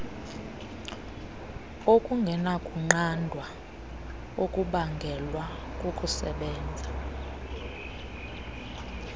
okungenakunqandwa okubangelwa kukusebenza